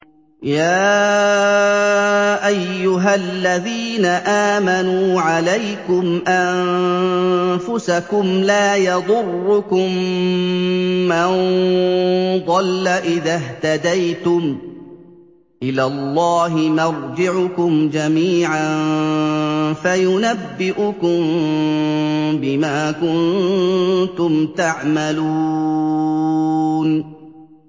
يَا أَيُّهَا الَّذِينَ آمَنُوا عَلَيْكُمْ أَنفُسَكُمْ ۖ لَا يَضُرُّكُم مَّن ضَلَّ إِذَا اهْتَدَيْتُمْ ۚ إِلَى اللَّهِ مَرْجِعُكُمْ جَمِيعًا فَيُنَبِّئُكُم بِمَا كُنتُمْ تَعْمَلُونَ